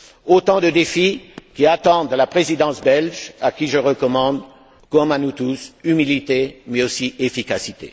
Autant de défis qui attendent la présidence belge, à qui je recommande, comme à nous tous, humilité, mais aussi efficacité.